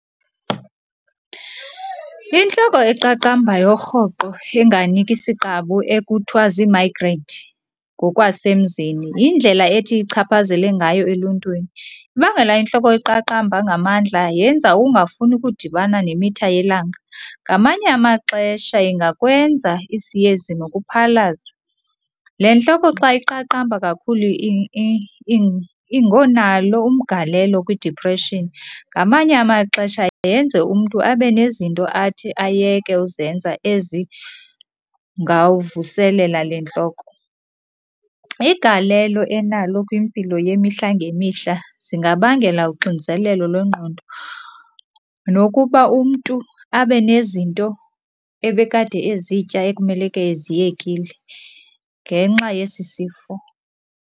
Intloko eqaqambayo rhoqo enganiki siqabu ekuthiwa ziimayigreyinti ngokwasemzini yindlela ethi ichaphazele ngayo eluntwini. Ibangela intloko eqaqamba ngamandla yenza ungafuni ukudibana nemitha yelanga, ngamanye amaxesha ingakwenza isiyezi nokuphalaza. Le ntloko xa iqaqamba kakhulu ingonalo umgalelo kwidiphreshini, ngamanye amaxesha yenze umntu abe nezinto athi ayeke uzenza ezingavuselela le ntloko. Igalelo enalo kwimpilo yemihla ngemihla zingabangela uxinzelelo lwengqondo nokuba umntu abe nezinto ebekade ezitya ekumeleke eziyekile ngenxa yesi sifo.